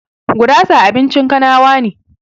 Gurasa abincin kanawa ne